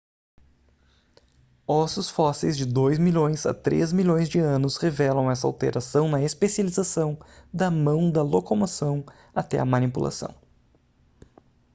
ossos fósseis de dois milhões a três milhões de anos revelam essa alteração na especialização da mão da locomoção até a manipulação